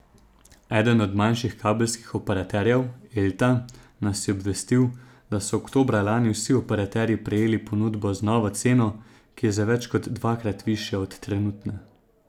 Eden od manjših kabelskih operaterjev, Elta, nas je obvestil, da so oktobra lani vsi operaterji prejeli ponudbo z novo ceno, ki je za več kot dvakrat višja od trenutne.